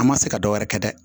An ma se ka dɔ wɛrɛ kɛ dɛ